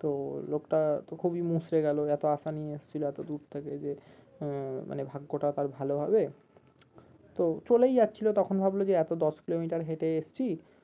তো লোকটা তো খুবই গেলো এত আশা নিয়ে এসছিলো এত দূর থেকে যে আহ মানে ভাগ্যটা তার ভালো হবে তো চলেই যাচ্ছিলো তখন ভাবলো কি যে এত দশ কিলোমিটার হেটে এসছি